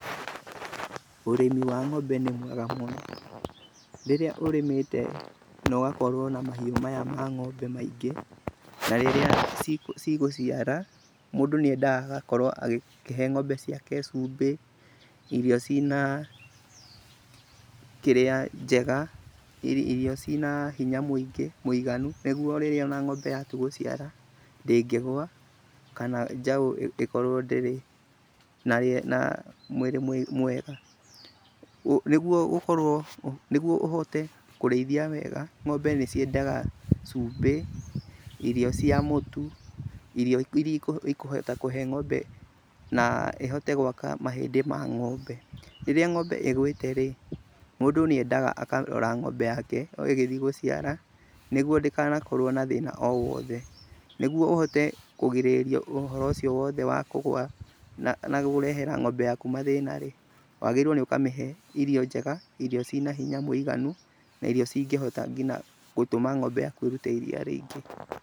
Ũrĩmi wa ng'ombe nĩ mwega mũno. Rĩrĩa ũrĩmĩte na ũgakorwo na mahiũ maya ma ng'ombe maingĩ, na rĩrĩa cigũciara, mũndũ nĩ endaga agakorwo agĩkĩhe ng'ombe ciake cumbĩ, irio cina kĩrĩa njega, irio cina hinya mũingĩ, mũiganu nĩguo rĩrĩa ona ng'ombe yatu gũciara ndĩngĩgũa kana njaũ ĩkorwo ndĩrĩ na, na mwĩrĩ mwega. Nĩguo gũkorwo, nĩguo ũhote kũrĩithia wega ng'ombe nĩ ciendaga cumbĩ, irio cia mũtu, irio irĩa ikũhota kũhe ng'ombe na ĩhote gwaka mahĩndĩ ma ng'ombe. Rĩrĩa ng'ombe ĩgũĩte rĩ, mũndũ nĩ endaga akarora ng'ombe yake o ĩgĩthi gũciara nĩguo ndĩkanakorwo na thĩna o wothe. Nĩguo ũhote kũgirĩrĩa ũhoro ũcio wothe wa kũgũa na gũrehera ng'ombe yaku mathĩna rĩ, wagĩrĩirwo nĩ ũkamĩhe irio njega, irio cina hinya mũiganu, na irio cingĩhota ngina gũtũma ng'ombe yaku ĩrute iriia rĩingĩ.